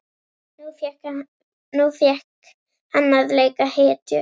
Nú fékk hann að leika hetju.